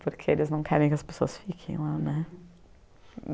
Porque eles não querem que as pessoas fiquem lá, né?